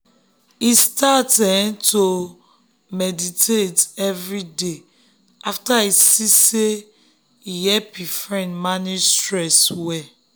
e start um to dey um meditate every day after e see say um e help him friend manage stress well.